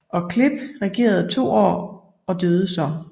Og Cleph regerede to år og døde så